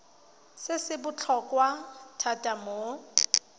se se botlhokwa thata mo